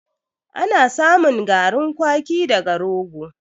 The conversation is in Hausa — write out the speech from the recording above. Ana samun garin kwaki daga rogo.